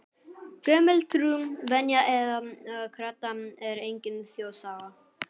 Gömul trú, venja eða kredda er engin þjóðsaga.